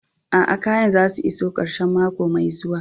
Aa, kayan za su iso karshen mako mai zuwa.